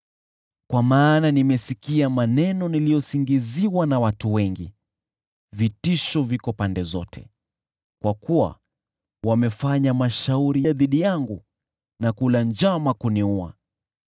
Kwa maana nimesikia maneno niliyosingiziwa na wengi; vitisho viko pande zote; kwa kuwa wamefanya mashauri dhidi yangu, na kula njama kuniua.